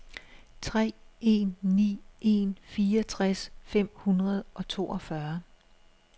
tre en ni en fireogtres fem hundrede og toogfyrre